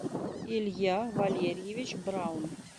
илья валерьевич браун